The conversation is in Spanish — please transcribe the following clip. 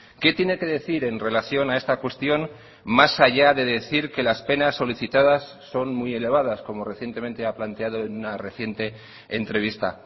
qué tiene que decir en relación a esta cuestión más allá de decir que las penas solicitadas son muy elevadas como recientemente ha planteado en una reciente entrevista